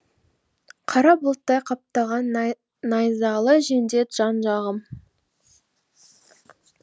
қара бұлттай қаптаған найзалы жендет жан жағым